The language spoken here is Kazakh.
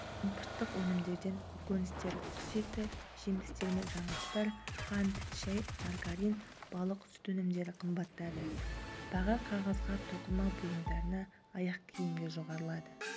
импорттық өнімдерден көкөністер құс еті жемістер мен жаңғақтар қант шай маргарин балық сүт өнімдері қымбаттады баға қағазға тоқыма бұйымдарына аяқкиімге жоғарылады